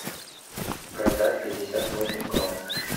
продать пятьдесят восемь крон